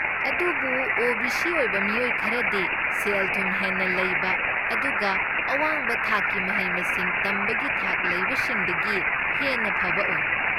ꯑꯗꯨꯕꯨ ꯑꯣ.ꯕꯤ.ꯁꯤ. ꯑꯣꯏꯕ ꯃꯤꯑꯣꯏ ꯈꯔꯗꯤ ꯁꯦꯜ ꯊꯨꯝ ꯍꯦꯟꯅ ꯂꯩꯕ ꯑꯗꯨꯒ ꯑꯋꯥꯡꯕ ꯊꯥꯛꯀꯤ ꯃꯍꯩ ꯃꯁꯤꯡ ꯇꯝꯕꯒꯤ ꯊꯥꯛ ꯂꯩꯕꯁꯤꯡꯗꯒꯤ ꯍꯦꯟꯅ ꯐꯕ ꯑꯣꯏ꯫